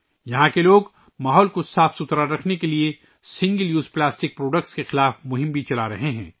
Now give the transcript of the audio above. یہاں کے لوگ ماحول کو صاف رکھنے کے لئے سنگل یوز پلاسٹک کی مصنوعات کے خلاف مہم بھی چلا رہے ہیں